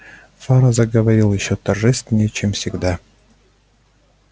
фара заговорил ещё торжественнее чем всегда